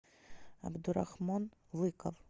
абдурахман лыков